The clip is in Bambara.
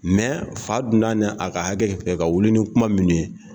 fa donna n'a ka hakɛ fɛ ka wuli ni kuma minnu ye